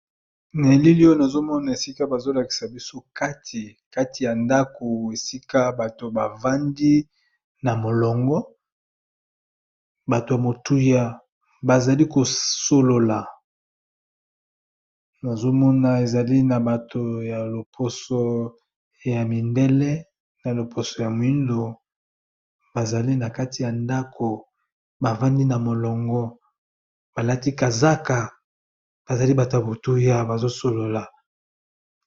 Na elili oyo, nazo mona esika bazo lakisa biso kati kati ya ndaku esika bato ba vandi na molongo batu ya motuya bazali ko solola nazo mona ezali na bato ya loposo ya mindele na loposo ya moyindo, ba zali na kati ya ndaku ba vandi na molongo ba lati kazaka ba zali bato ya motuya bazo solola .